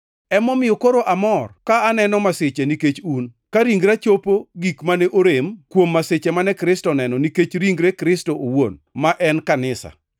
Emomiyo koro amor ka aneno masiche nikech un, ka ringra chopo gik mane orem kuom masiche mane Kristo oneno nikech ringre Kristo owuon, ma en kanisa.